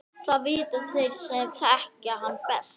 Það vita þeir sem þekkja hann best.